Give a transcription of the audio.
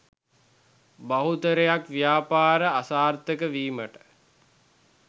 බහුතරයක් ව්‍යාපාර අසාර්ථක වීමට